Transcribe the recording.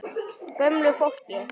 Gömlu fólki.